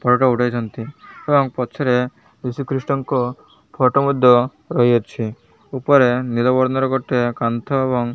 photo ଉଠେଇଚନ୍ତି ତ ୟାଙ୍କ ପଛରେ ଯୀଶୁଖ୍ରୀଷ୍ଟ ଙ୍କ ଫଟୋ ମଧ୍ୟ ରହିଅଛି ଉପରେ ନିଳବର୍ଣ୍ଣ ର ଗୋଟେ କାନ୍ଥ ଏବଂ --